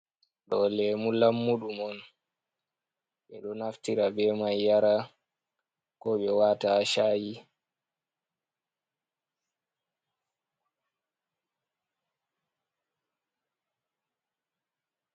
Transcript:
Do lemu lammuɗum on, ɓe ɗo naftira ɓe mai yara ko ɓe wata ha shayi.